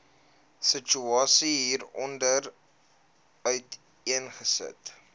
situasie hieronder uiteengesit